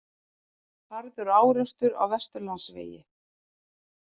Harður árekstur á Vesturlandsvegi